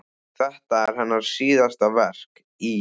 Þetta er hennar síðasta verk í